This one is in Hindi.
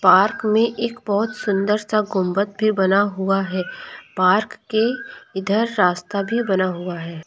पार्क में एक बहुत सुंदर सा गुंबद भी बना हुआ है पार्क के इधर रास्ता भी बना हुआ है।